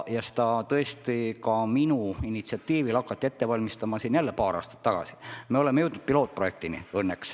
Ja tõesti, ka minu initsiatiivil hakati paar aastat tagasi ette valmistama üht lahendust ja nüüd me oleme õnneks jõudnud pilootprojektini.